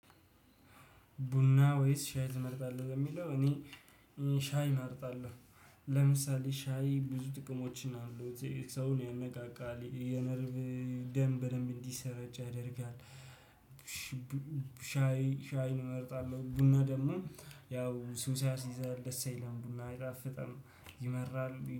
ቡና ወይስ ሻይ ትመርጣለህ ለሚለው እኔ ሽ ሻይ እመርጣለሁ። ለምሳሌ ሻይ ብዙ ጥቅሞችን አሉት። ሰውን ያነቃቃል፣ የነርቭ ደም በደንብ እንዲሰራጭ ያደርጋል፣ ሻይ ሻይን እመርጣለሁ። ቡና ደግሞ ያው ሱስ ያሲዛል፣ ደስ አይልም ቡና አይጣፍም ይመራሉ